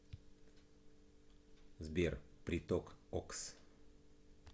сбер приток окс